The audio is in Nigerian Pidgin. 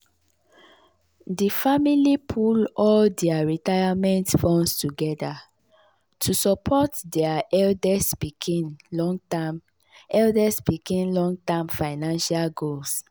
di family pool all dia retirement funds together to support dia eldest pikin long-term eldest pikin long-term financial goals.